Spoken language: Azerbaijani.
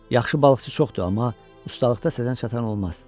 Yaxşı balıqçı çoxdur, amma ustalıqda sənə çatan olmaz.